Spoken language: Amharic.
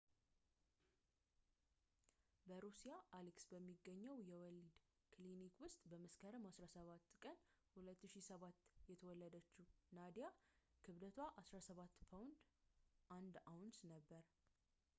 በሩሲያ አሊስክ በሚገኘው የወሊድ ክሊኒክ ውስጥ በመስከረም 17 ቀን 2007 የተወለደችው ናዲያ ክብደቷ 17 ፓውንድ 1 አውንስ ነበር